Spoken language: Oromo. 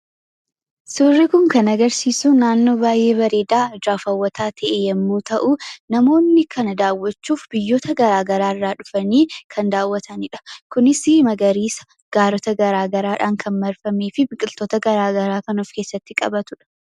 Suurri Kun kan agarsiisu naannoo bareedaa ijaaf haawwataa ta'e yemmuu ta'u namoonni kan daawwachuuf biyyoota garagaraa irraa dhufanii kan daawwatanidha. Kunis magariisa gaarota garagaraadhaan kan marfamee fi biqiloota garagaraa kan of keessatti qabatudham.